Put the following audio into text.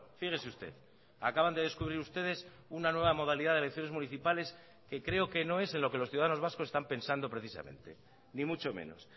fíjese usted acaban de descubrir ustedes una nueva modalidad de elecciones municipales que creo que no es en lo que los ciudadanos vascos están pensando precisamente ni mucho menos